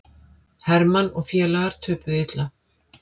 Hermann og félagar töpuðu illa